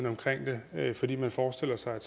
omkring det fordi man forestiller sig at